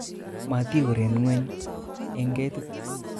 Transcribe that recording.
Motiuren ngweny en ketit